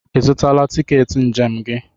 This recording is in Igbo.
Ị zụtala tiketi njem gị?